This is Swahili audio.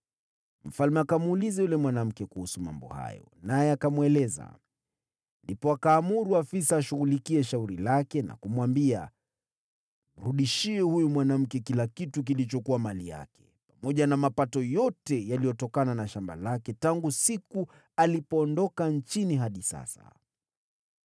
Mfalme akamuuliza yule mwanamke kuhusu mambo hayo, naye akamweleza. Ndipo akaamuru afisa ashughulikie shauri lake na kumwambia, “Mrudishie huyu mwanamke kila kitu kilichokuwa mali yake, pamoja na mapato yote yaliyotokana na shamba lake tangu siku alipoondoka nchini hadi sasa.”